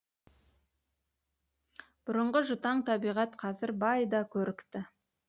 бұрынғы жұтаң табиғат қазір бай да көрікті